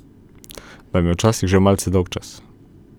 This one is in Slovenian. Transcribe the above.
Vam je včasih že malce dolgčas?